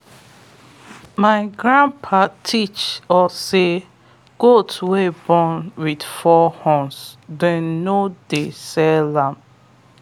my grandpa teach us say goats wey born with four horns them no dey sell am.